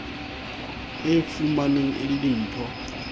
e fumanweng e le dimpho